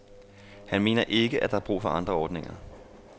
Han mener ikke, at der er brug for andre ordninger.